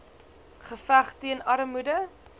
geveg teen armoede